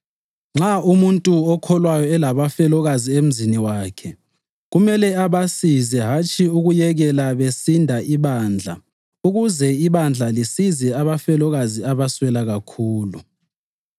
Nxa umuntu okholwayo elabafelokazi emzini wakhe, kumele abasize hatshi ukuyekela besinda ibandla ukuze ibandla lisize abafelokazi abaswela kakhulu.